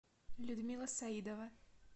людмила саидова